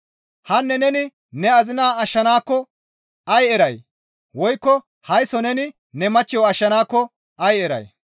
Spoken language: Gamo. Hanne neni ne azinaa ashshanaakko ay eray? Woykko haysso neni ne machcho ashshanaakko ay eray?